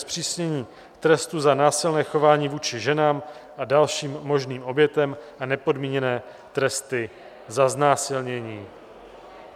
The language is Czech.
Zpřísnění trestu za násilné chování vůči ženám a dalším možným obětem a nepodmíněné tresty za znásilnění